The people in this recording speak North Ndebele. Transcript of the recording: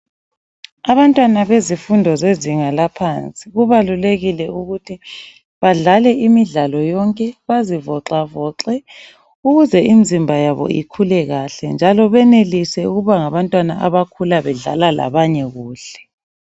Abantwana bezifundo zezinga laphansi kubalulekile ukuthi badlale imidlalo yonke. Bazivoxavoxe ukuze imizimba yabo ikhule kahle njalo benelise ukuba ngabantwana abakhula bedlala labanye kuhle.